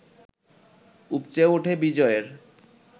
উপচে ওঠে বিজয়ের